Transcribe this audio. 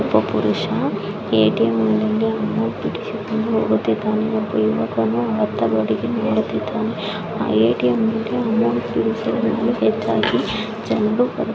ಒಬ್ಬ ಪುರುಷ ಎ.ಟಿ.ಎಂ ನಿಂದ ಅಮೌಂಟ್ ಬಿಡಿಸಿಕೊಂಡು ಹೋಗುತ್ತಿದ್ದಾನೆ ಒಬ್ಬ ಯುವಕ ಅಯ್ತ್ತ ಕಡೆ ನೋಡುತ್ತಿದ್ದಾನೆ. ಎ.ಟಿ..ಎಂ ನಿಂದ ಅಮೌಂಟ್ ಬಿಡಿಸಿಕೊಳ್ಳಲು ಜನರು--